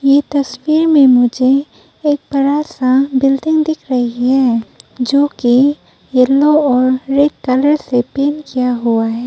ये तस्वीर में मुझे एक बड़ा सा बिल्डिंग दिख रही है जोकि येलो और रेड कलर से पेंट किया हुआ है।